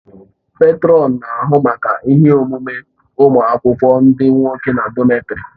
Pètrọn na-ahụ maka ihe omume ụmụ akwụkwọ ndị nwoke na dọmètarì